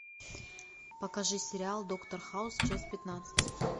покажи сериал доктор хаус часть пятнадцать